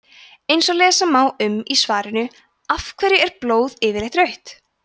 eins og lesa má um í svarinu af hverju er blóð yfirleitt rautt